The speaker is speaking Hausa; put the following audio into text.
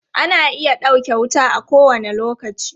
Ana iya ɗauke wuta a kowane lokaci.